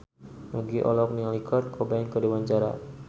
Nugie olohok ningali Kurt Cobain keur diwawancara